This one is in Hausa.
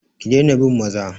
Ki daina bin maza!